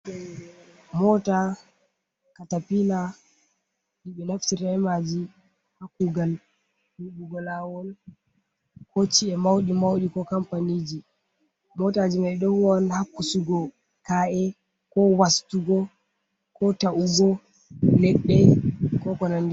Mota katapila. Ɗibe naftiralta bei maji ha kugal yibugo lawol. ko ci’e mauɗi-mauɗi, ko kampaniji. Mota ji mai ɗo huwa on ha wasugo ka’e. Ko wastugo, ko ta’ugo leɗɗe, ko ko nanɗi bei.